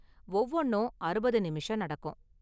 ஒவ்வொன்னும் அறுபது நிமிஷம் நடக்கும்.